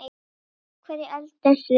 Af hverju eldumst við?